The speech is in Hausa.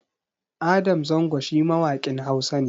Adam Zango shi mawaƙin Hausa ne